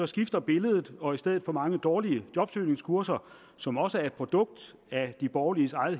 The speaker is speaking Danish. skifter billedet og i stedet for mange dårlige jobsøgningskurser som også er et produkt af de borgerliges